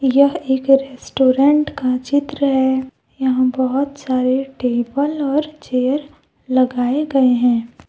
यह एक रेस्टोरेंट का चित्र है यहां बहुत सारे टेबल और चेयर लगाए गए हैं।